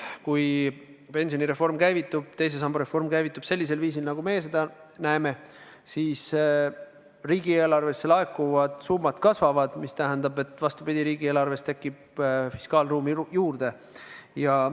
Kui pensionireform, teise samba reform käivitub sellisel viisil, nagu meie seda näeme, siis riigieelarvesse laekuvad summad kasvavad, mis tähendab, et vastupidi, riigieelarves tekib fiskaalruumi juurde.